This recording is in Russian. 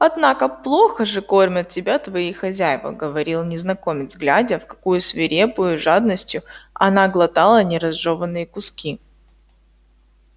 однако плохо же кормят тебя твои хозяева говорил незнакомец глядя в какою свирепою жадностью она глотала неразжеванные куски